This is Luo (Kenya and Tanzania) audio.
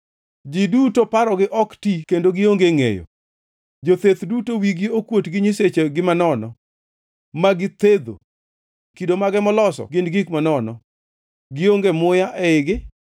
“Ji duto parogi ok ti kendo gionge ngʼeyo; jotheth duto wigi kuot gi nyisechegi manono, ma githedho. Kido mage moloso gin gik manono; gionge muya eigi.